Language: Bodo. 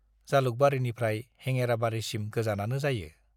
जालुकबारीनिफ्राइ हेङेराबारीसिम गोजानानो जायो।